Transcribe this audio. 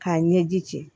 K'a ɲɛji